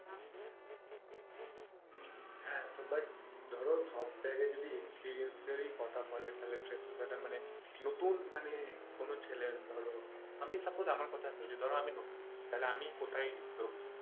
হ্যাঁ তো but ধরো সব জায়গায় যদি experience এরই কথা বলে তাহলে freshers যারা মানে নতুন মানে কোনো ছেলে ধরো আমি suppose ধরো আমার কথা ধরছি ধরো আমি নতুন তো আমি কোথায় গিয়ে ঢুকবো?